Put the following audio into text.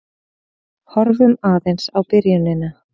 Horfum aðeins á byrjunina.